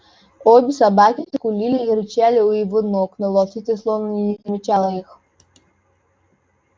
обе собаки скулили и рычали у его ног но волчица словно и не замечала их